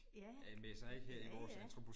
Ja. ja ja